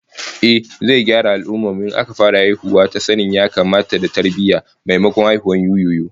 Ehh, zai gyara al'ummar mu in aka fara haihuwa ta sanin ya-kamata da tarbiyyah, maimakon haihuwar yuyuyu